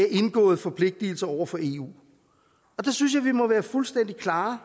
indgåede forpligtigelser over for eu der synes jeg vi må være fuldstændig klare